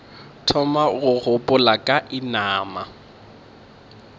thoma go gopola ka inama